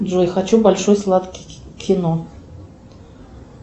джой хочу большой сладкий кино